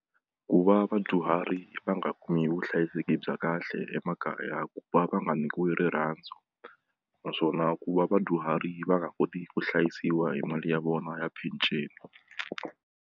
Ku va vadyuhari va nga kumi vuhlayiseki bya kahle emakaya ku va va nga nyikiwi rirhandzu naswona ku va vadyuhari va nga koti ku hlayisiwa hi mali ya vona ya peceni.